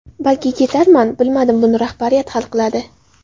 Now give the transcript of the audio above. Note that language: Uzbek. Balki ketarman, bilmadim, buni rahbariyat hal qiladi.